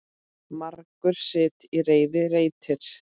Margur sitt í reiði reytir.